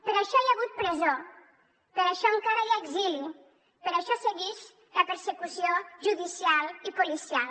per això hi ha hagut presó per això encara hi ha exili per això seguix la persecució judicial i policial